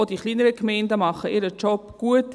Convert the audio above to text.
Auch die kleinen Gemeinden machen ihre Arbeit gut.